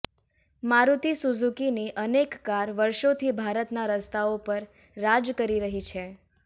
મારુતિ સુઝુકીની અનેક કાર વર્ષોથી ભારતના રસ્તાઓ પર રાજ કરી રહી છે